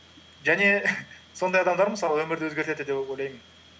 және сондай адамдар мысалы өмірді өзгертеді деп ойлаймын